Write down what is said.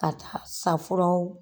Ka taa safuraw